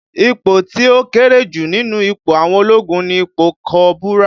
Ipò tí ó kéré jù nínú ipò àwọn ológun ni ipò kọ́bùrà